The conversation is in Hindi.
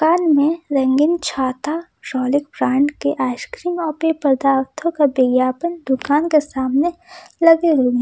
दुकान में रंगीन छाता रॉलिक ब्रांड के आइसक्रीम और पेय पदार्थों का विज्ञापन दुकान के सामने लगे हुए --